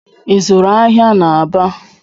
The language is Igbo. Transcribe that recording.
I zụụrụ ahịa n'Aba?